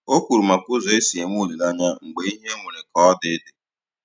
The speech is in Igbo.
O kwuru maka ụzọ esi enwe olileanya mgbe ihe nwere ka ọ dị dị